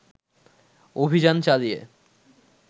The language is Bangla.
অভিযানে চালিয়ে